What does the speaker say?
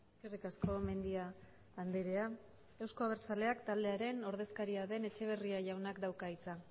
eskerrik asko mendia andrea euzko abertzaleak taldearen ordezkaria den etxeberria jaunak dauka hitza